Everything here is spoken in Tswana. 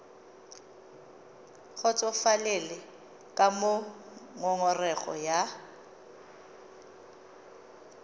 kgotsofalele ka moo ngongorego ya